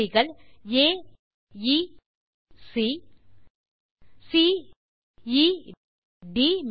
புள்ளிகள் aeசி ceட்